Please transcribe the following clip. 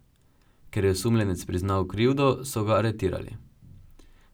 Ker je osumljenec priznal krivdo, so ga aretirali.